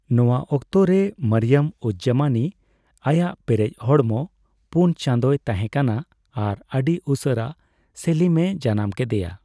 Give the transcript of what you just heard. ᱱᱚᱣᱟ ᱚᱠᱛᱮᱨᱮ, ᱢᱚᱨᱤᱭᱚᱢᱼᱩᱡᱼᱡᱟᱢᱟᱱᱤ ᱟᱭᱟᱜ ᱯᱮᱨᱮᱪ ᱦᱚᱲᱢᱚ ᱯᱩᱱ ᱪᱟᱸᱫᱳᱭ ᱛᱟᱦᱮᱸᱠᱟᱱᱟ ᱟᱨ ᱟᱹᱰᱤ ᱩᱥᱟᱹᱨᱟ ᱥᱮᱞᱤᱢ ᱮ ᱡᱟᱱᱟᱢ ᱠᱮᱫᱮᱭᱟ ᱾